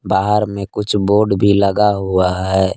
बाहर में कुछ बोर्ड भी लगा हुआ है।